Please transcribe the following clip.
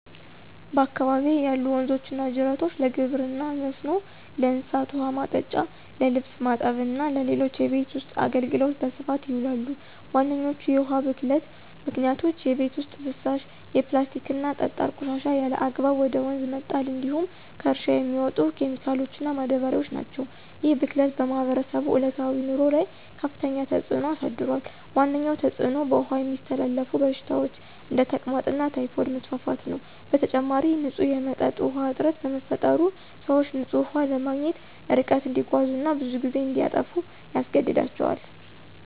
በአካባቢዬ ያሉ ወንዞችና ጅረቶች ለግብርና መስኖ፣ ለእንስሳት ውኃ ማጠጫ፣ ለልብስ ማጠብ እና ለሌሎች የቤት ውስጥ አገልግሎት በስፋት ይውላሉ። ዋነኞቹ የውሃ ብክለት ምክንያቶች የቤት ውስጥ ፍሳሽ፣ የፕላስቲክና ጠጣር ቆሻሻ ያለአግባብ ወደ ወንዝ መጣል እንዲሁም ከእርሻ የሚመጡ ኬሚካሎችና ማዳበሪያዎች ናቸው። ይህ ብክለት በማህበረሰቡ ዕለታዊ ኑሮ ላይ ከፍተኛ ተጽዕኖ አሳድሯል። ዋነኛው ተጽዕኖ በውሃ የሚተላለፉ በሽታዎች (እንደ ተቅማጥና ታይፎይድ) መስፋፋት ነው። በተጨማሪም፣ ንጹህ የመጠጥ ውሃ እጥረት በመፈጠሩ፣ ሰዎች ንጹህ ውሃ ለማግኘት ርቀት እንዲጓዙ እና ብዙ ጊዜ እንዲያጠፉ ያስገድዳቸዋል።